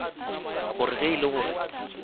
gore ge e le gore